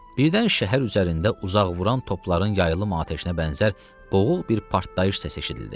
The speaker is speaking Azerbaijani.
Birdən şəhər üzərində uzaq vuran topların yayılımlı atəşinə bənzər boğuq bir partlayış səsi eşidildi.